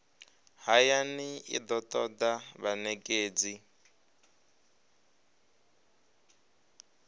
hayani i do toda vhanekedzi